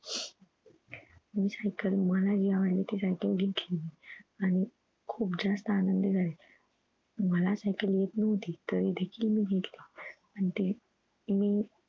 मी cycle मला जी आवडली सायकल घेतली मी आणि खुप जास्त आनंदी झाले मला सायकल येत नव्हती तरी देखील मी घेतली आणि ते मी